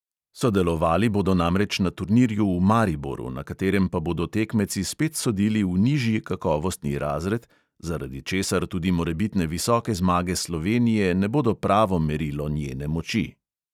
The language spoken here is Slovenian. Sodelovali bodo namreč na turnirju v mariboru, na katerem pa bodo tekmeci spet sodili v nižji kakovostni razred, zaradi česar tudi morebitne visoke zmage slovenije ne bodo pravo merilo njene moči.